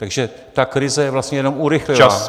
Takže ta krize vlastně jenom urychlila...